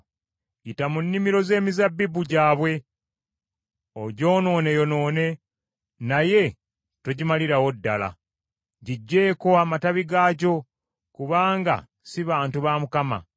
“Yita mu nnimiro z’emizabbibu gyabwe ogyonooneyonoone, naye togimalirawo ddala. Giggyeeko amatabi gaagyo, kubanga si bantu ba Mukama .